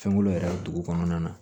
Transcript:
Fɛnkolo yɛrɛ dugu kɔnɔna na